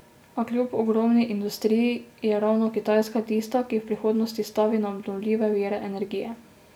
A kljub ogromni industriji, je ravno Kitajska tista, ki v prihodnosti stavi na obnovljive vire energije.